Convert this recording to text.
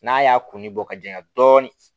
N'a y'a kunni bɔ ka janya dɔɔnin